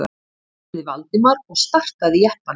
spurði Valdimar og startaði jeppanum.